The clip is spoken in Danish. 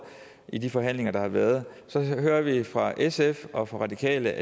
i de forhandlinger der har været så hører vi fra sf og fra radikale